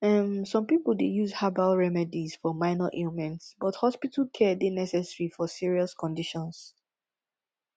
um some people dey use herbal remedies for minor ailments but hospital care dey necessary for serious conditions